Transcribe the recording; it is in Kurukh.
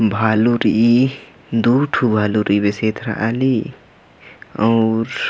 भालू रइई दु ठू भालू रइई बेसे एथरा ली अऊर --